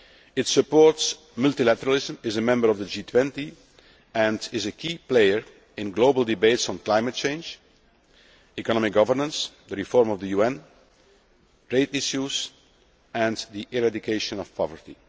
It supports multilateralism, is a member of the G20 and is a key player in global debates on climate change, economic governance, the reform of the UN, trade issues and the eradication of poverty.